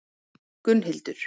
Gunnhildur